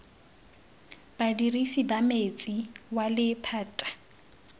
badirisi ba metsi wa lephata